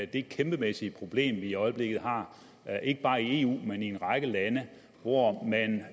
det kæmpemæssige problem vi i øjeblikket har ikke bare i eu men i en række lande hvor man